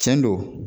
Tiɲɛ don